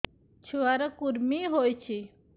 ଛୁଆ ର କୁରୁମି ହୋଇଛି